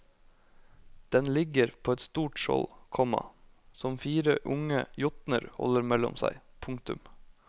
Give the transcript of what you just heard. Den ligger på et stort skjold, komma som fire unge jotner holder mellom seg. punktum